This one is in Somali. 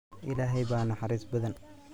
Ilaahey baa naxariis badan.